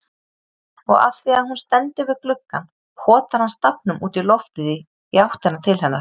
Og afþvíað hún stendur við gluggann potar hann stafnum útí loftið í áttina til hennar.